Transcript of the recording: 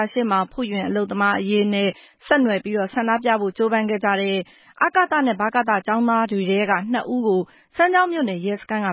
ာရှေ့မှာ ဖုယွင်အလုပ်သမားအရေးနဲ့ ဆက်နွယ်ပြီး ဆန္ဒပြဖို့ကြိုးပမ်းရင်း ဖမ်းဆီးခံခဲ့ရတဲ့ ဗကသကျောင်းသား နှစ်ဦးကို စမ်းချောင်းမြို့နယ်ရဲစခန်းက